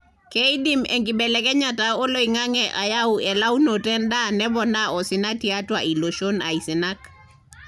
keidim enkibelekenyata oloingange ayau elaunoto endaa nepoona osina tiatua ilooshon aisinak.